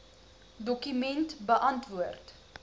dokument beantwoord